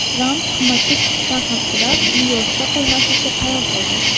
Tramp qimmatga tushishdan xavfsirab, Nyu-Yorkda qolmaslikka qaror qildi.